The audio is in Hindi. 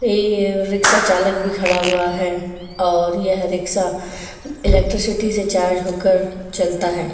ये रिक्शा चालक भी खड़ा हुआ है और यह रिक्शा इलेक्ट्रिसिटी से चार्ज होकर चलता है।